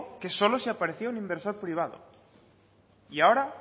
que solo si aparecía un inversor privado y ahora